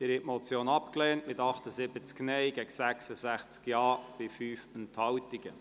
Sie haben die Motion abgelehnt mit 78 Nein- gegen 66 Ja-Stimmen bei 5 Enthaltungen.